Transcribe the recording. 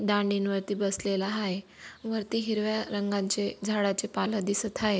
दांडीन वरती बसलेला हाय. वरती हिरव्या रंगांचे झाडाचे पाल दिसत हाय.